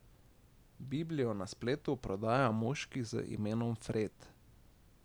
Biblijo na spletu prodaja moški z imenom Fred.